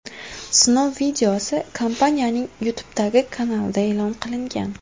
Sinov videosi kompaniyaning YouTube’dagi kanalida e’lon qilingan .